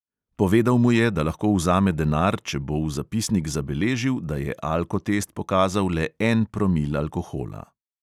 Povedal mu je, da lahko vzame denar, če bo v zapisnik zabeležil, da je alkotest pokazal le en promil alkohola.